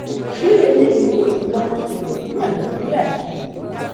ṣé eléyìí kọ tí wàá ń ṣẹlẹ ní nàìjíríà yìí ni